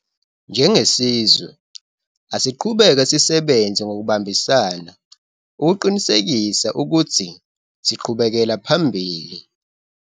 Njengesizwe, asiqhubeke sisebenze ngokubambisana ukuqinisekisa ukuthi siqhubekela phambili.